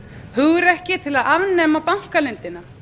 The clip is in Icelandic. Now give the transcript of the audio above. hugrekki til að afnema bankaleyndina